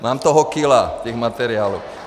Mám toho kila, těch materiálu.